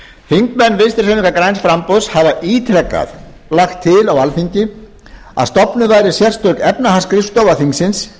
þingmenn vinstri hreyfingarinnar græns framboðs hafa ítrekað lagt til á alþingi að stofnuð væri sérstök efnahagsskrifstofa þingsins